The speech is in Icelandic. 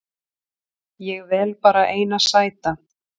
Ég vel bara eina sæta